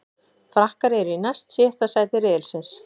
Frakkar eru í næst síðasta sæti riðilsins.